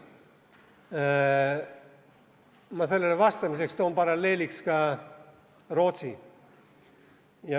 Ma toon sellele vastamiseks paralleeliks ka Rootsi.